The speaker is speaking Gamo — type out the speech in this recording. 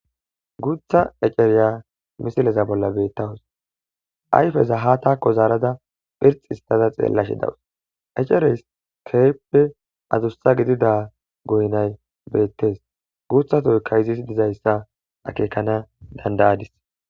Guutha eceriya misileza bolla beettawus ayfeza ha taakko zaarada phirx histada xeellashe dawus ecereys keyppe adussa gidida goynay beettes guuthatoykka izis dizayssa akeekana dandayadis.